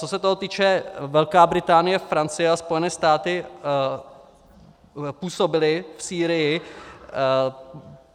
Co se toho týče, Velká Británie, Francie a Spojené státy působily v Sýrii.